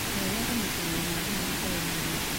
Kĩyo gĩa kũmũkinyĩra na thimũ gĩtiarĩ na umithio.